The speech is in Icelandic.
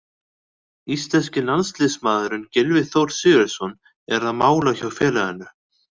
Íslenski landsliðsmaðurinn Gylfi Þór Sigurðsson er á mála hjá félaginu.